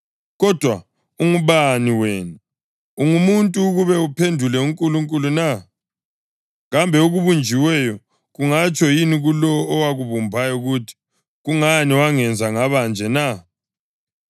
Kodwa ungubani wena, ungumuntu, ukuba uphendule uNkulunkulu na? Kambe okubunjiweyo kungatsho yini kulowo owakubumbayo kuthi, “Kungani wangenza ngabanje na?” + 9.20 U-Isaya 29.16; 45.9